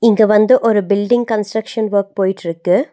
இங்க வந்து ஒரு பில்டிங் கன்ஸ்ட்ரக்ஷன் வொர்க் போயிட்ருக்கு.